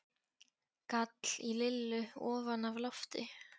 gall í Lillu ofan af lofti.